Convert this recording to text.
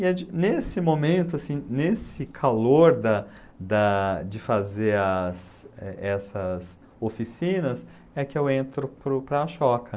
E é de, nesse momento, assim, nesse calor da da de fazer as é essas oficinas, é que eu entro para o para a choca.